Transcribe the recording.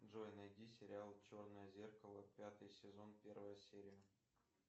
джой найди сериал черное зеркало пятый сезон первая серия